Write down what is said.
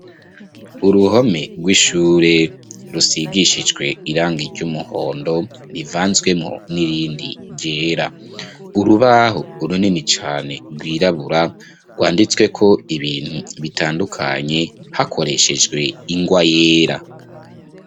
Uruhome rw'ishure rusigishijwe irangi ry'umuhondo rivanzwemwo n'irindi ryera. Urubaho runini cane rwirabura rwanditseko ibintu binini cane bitandukanye hakoreshejwe ingwa yera.